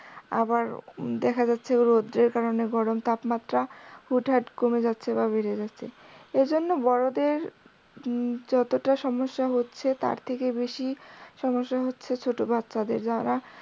আবার দেখা যাচ্ছে যে রোদের কারনে গরম তাপমাত্রা হুট হাট কমে যাচ্ছে বা বেড়ে যাচ্ছে। এই জন্য বড়দের যতটা সমস্যা হচ্ছে তার থেকে বেশী সমস্যা হচ্ছে ছোট বাচ্চাদের যারা